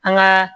An gaa